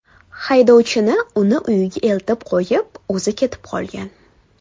Haydovchini uni uyiga eltib qo‘yib, o‘zi ketib qolgan.